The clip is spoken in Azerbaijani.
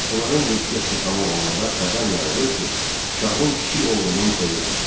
Onların yeddi yaşı tamam olanda xəbər yayılır ki, şahın kiçik oğlunun toyudur.